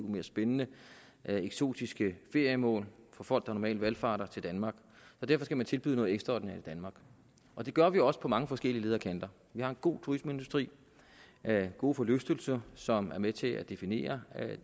mere spændende og eksotiske feriemål for folk der normalt valfarter til danmark derfor skal man tilbyde noget ekstraordinært i danmark og det gør vi også på mange forskellige leder og kanter vi har en god turismeindustri gode forlystelser som er med til at definere